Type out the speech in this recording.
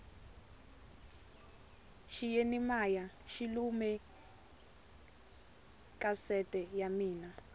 xiyeni maya xi lume kasete ya mina